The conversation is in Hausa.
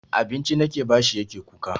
Abinci nake bashi yake kuka.